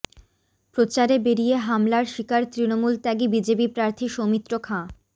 প্রচারে বেরিয়ে হামলার শিকার তৃণমূল ত্যাগী বিজেপি প্রার্থী সৌমিত্র খাঁ